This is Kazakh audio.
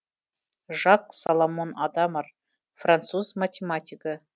жак соломон адамар француз математигі